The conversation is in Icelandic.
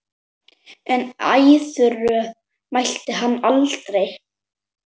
En æðruorð mælti hann aldrei.